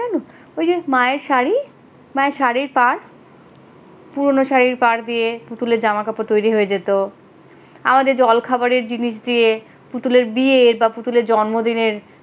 ওই যে মায়ের শাড়ি মায়ের শাড়ির পার পুরনো শাড়ি পার দিয়ে জামা কাপড় তৈরি হয়ে যেতো পরে জলখাবারের জিনিস দিয়ে পুতুলের বিয়ে বা পুতুলের জন্মদিনের,